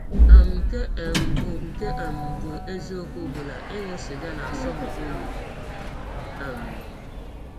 um Nke um bụ́ Nke um bụ́ eziọkwụ bụ na ịṅụ sịga na - asọ m ọyi um.